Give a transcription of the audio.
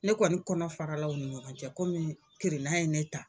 Ne kɔni kɔnɔ faralaw u ni ɲɔgɔn cɛ komi kirinna ye ne ta.